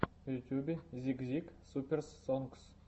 в ютюбе зик зик суперс сонгс